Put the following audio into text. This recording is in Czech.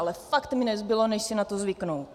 Ale fakt mi nezbylo než si na to zvyknout.